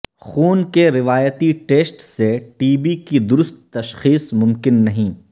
خون کے روایتی ٹیسٹ سے ٹی بی کی درست تشخیص ممکن نہیں